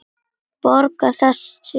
Borgar það sig ekki?